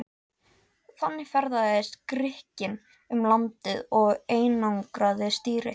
Þannig ferðaðist Grikkinn um landið og einangraði stýri.